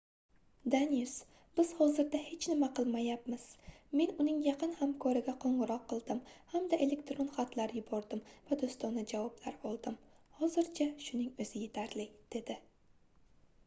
danius biz hozirda hech nima qilmayapmiz men uning yaqin hamkoriga qoʻngʻiroq qildim hamda elektron xatlar yubordim va doʻstona javoblar oldim hozircha shuning oʻzi yetarli dedi